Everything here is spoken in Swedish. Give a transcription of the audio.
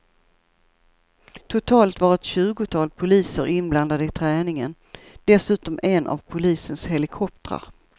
Totalt var ett tjugotal poliser inblandade i träningen, dessutom en av polisens helikoptrar.